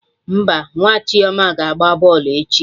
Mba, nwa Chioma ga agba bọlụ echi